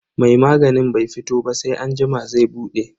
Mai maganin bai fito ba sai anjima zai bude.